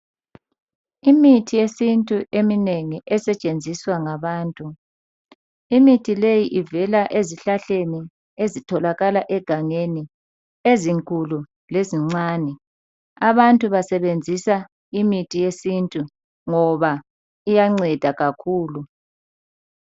Imithi yesintu eminengi esetshenziswa ngabantu. Imithi leyi ivela ezihlahleni ezitholakala egangeni ezinkulu lezincane. Abantu basebenzisa imithi yesintu ngoba iyanceda kakhulu.